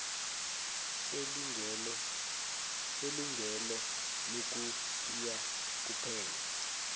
selungelo lokuthiya kuphela